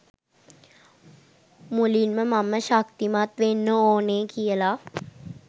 මුලින්ම මම ශක්තිමත් වෙන්න ඕන කියල